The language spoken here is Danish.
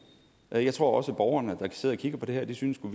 men jeg tror også at borgerne der sidder og kigger på det her synes